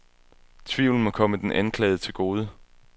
Tvivlen må komme den anklagede til gode.